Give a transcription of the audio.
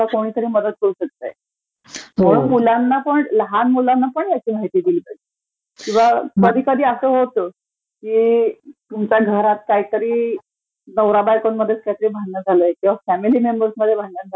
हो म्हणून लहान मुलांनापण ह्याची माहिती दिली पाहिजे किंवा कधी कधी असं होतं, की तुमच्या घरात काहितरी नवरा बायकोंमध्ये काहीतरी भांडणं चालू आहेत किंवा फॅमिली मेंबर्समध्ये भांडण